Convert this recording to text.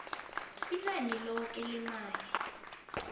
inani loke lemali